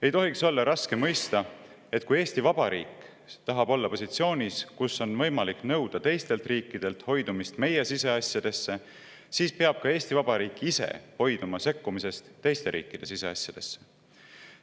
Ei tohiks olla raske mõista, et kui Eesti Vabariik tahab olla positsioonis, kus on võimalik nõuda teistelt riikidelt, et nad hoiduksid sekkumast meie siseasjadesse, siis peab ka Eesti Vabariik ise hoiduma sekkumast teiste riikide siseasjadesse.